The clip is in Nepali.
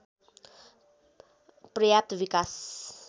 पर्याप्त विकास